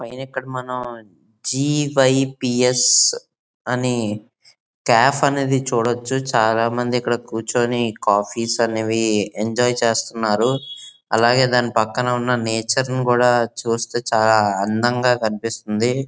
''ఇది ఇక్కడ మనం జి_వై_పి_స్ అని కాఫ్ అనేది చూడవచ్చు. చాల మంది ఇక్కడ కూర్చొని కాఫీస్ అనేవి ఎంజాయ్ చేస్తున్నారు. అలాగే దాని పక్కన ఉన్న నేచర్ ని కూడా చుస్తే చాల అందంగా కనిపిస్తుంది.''